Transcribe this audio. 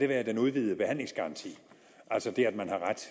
være den udvidede behandlingsgaranti altså det at man har ret